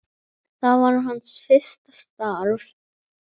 Það var hans fyrsta starf.